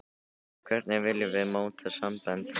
Hvernig viljum við móta sambönd og samfélag?